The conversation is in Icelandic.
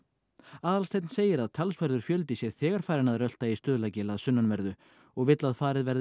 Aðalsteinn segir að talsverður fjöldi sé þegar farinn að rölta í að sunnanverðu og vill að farið verði